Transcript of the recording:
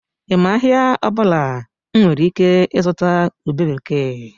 I ma ahịa ọbụla m nwere ike ịzụta ube bekee?